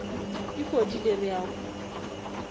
e fodile re a go